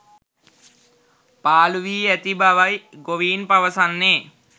පාලු වී ඇති බවයි ගොවීන් පවසන්නේ.